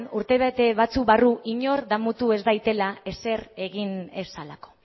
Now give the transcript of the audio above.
urtebete batzuk barru inork damutu ez dadila ezer egin ez zelako